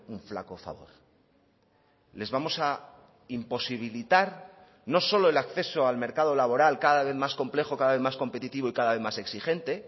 un flaco favor les vamos a imposibilitar no solo el acceso al mercado laboral cada vez más complejo cada vez más competitivo y cada vez más exigente